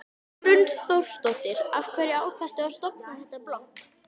Hrund Þórsdóttir: Af hverju ákvaðstu að stofna þetta blogg?